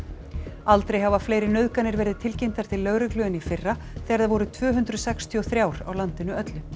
aldrei hafa fleiri nauðganir verið tilkynntar til lögreglu en í fyrra þegar þær voru tvö hundruð sextíu og þremur á landinu öllu